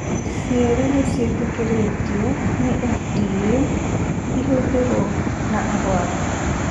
cierĩ nĩ ciĩtĩkĩritio nĩ FDA ihũthĩrwo nĩ arwaru